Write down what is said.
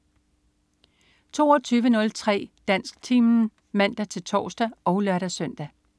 22.03 Dansktimen (man-tors og lør-søn)